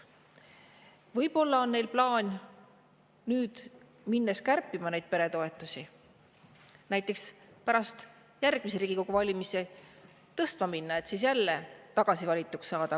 Võib-olla on neil plaan nüüd peretoetusi kärpima minnes neid näiteks pärast järgmisi Riigikogu valimisi tõstma hakata, et siis jälle tagasi valituks saada.